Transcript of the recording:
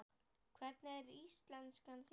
Hvernig er íslenskan þín?